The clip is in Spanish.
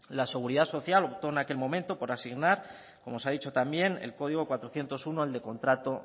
la seguridad social optó en aquel momento por asignar como se ha dicho también el código cuatrocientos uno el de contrato